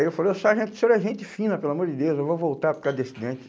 Aí eu falei, o sargento, o senhor é gente fina, pelo amor de Deus, eu vou voltar por causa desse dente?